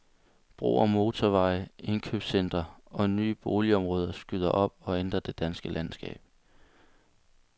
Broer, motorveje, indkøbscentre og nye boligområder skyder op og ændrer det danske landskab.